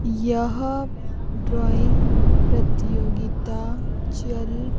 यह ड्राइंग प्रतियोगिता चल--